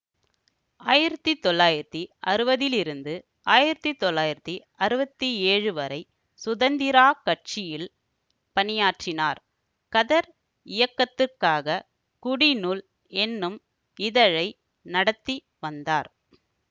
ஆயிரத்தி தொள்ளாயிரத்தி அறுவதுலிருந்து ஆயிரத்தி தொள்ளாயிரத்தி அறுவத்தி ஏழு வரை சுதந்திராக் கட்சியில் பணியாற்றினார் கதர் இயக்கத்துக்காகக் குடிநூல் என்னும் இதழை நடத்தி வந்தார்